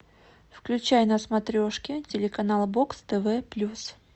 включай на смотрешке телеканал бокс тв плюс